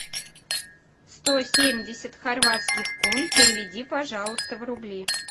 сто семьдесят хорватских кун переведи пожалуйста в рубли